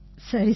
சரி சரி